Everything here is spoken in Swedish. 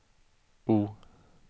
O